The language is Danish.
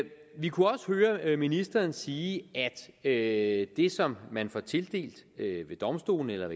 vi kunne også høre ministeren sige at det som man får tildelt ved domstolene eller